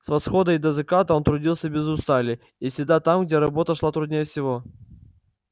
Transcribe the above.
с восхода и до заката он трудился без устали и всегда там где работа шла труднее всего